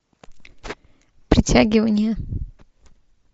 притягивание